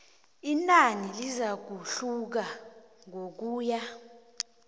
inani lizakuhluka ngokuya